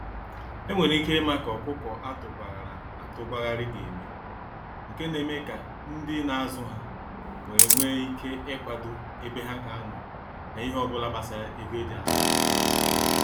Enwere ike ima ka ọkụkọ atụ gwa ghara atụ gwa ghari ga eme, nke na eme ka ndị na azụ ha nwere nwe ike ikwado ebe ha ga anọ na ihe obula gbasara ego eji azụ ha.